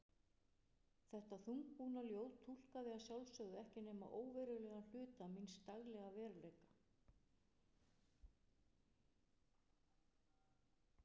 Þetta þungbúna ljóð túlkaði að sjálfsögðu ekki nema óverulegan hluta míns daglega veruleika.